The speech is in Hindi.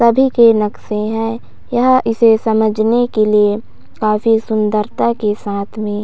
सभी के नक्शे हैं यहाँ इसे समझने के लिए काफी सुंदरता के साथ में--